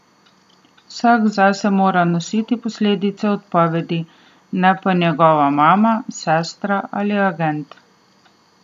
Vsak zase mora nositi posledice odpovedi, ne pa njegova mama, sestra ali agent.